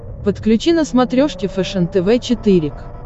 подключи на смотрешке фэшен тв четыре к